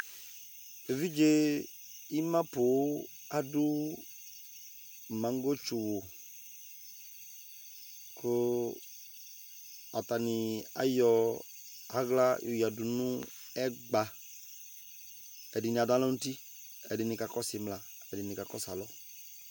evidze ima ponŋ adò manŋgɔ tsu wu kò atani ayɔ ala yɔ oya du no ɛgba ɛdini ado alɔ n'uti ɛdini ka kɔsu imla ɛdini ka kɔsu alɔ